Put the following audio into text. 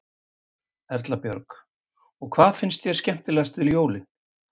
Erla Björg: Og hvað finnst þér skemmtilegast við jólin?